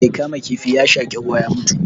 Mai kama kifin ya shaƙi ruwa ya mutu